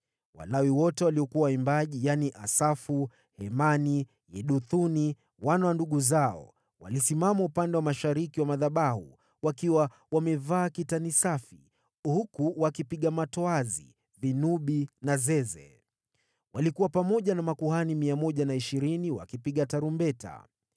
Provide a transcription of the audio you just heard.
Walawi wote waliokuwa waimbaji, yaani, Asafu, Hemani, Yeduthuni, wana wa ndugu zao, walisimama upande wa mashariki wa madhabahu, wakiwa wamevaa kitani safi huku wakipiga matoazi, vinubi na zeze. Walikuwa pamoja na makuhani 120 wakipiga tarumbeta.